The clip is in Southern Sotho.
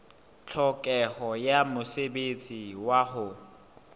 tlhokeho ya mosebetsi wa ho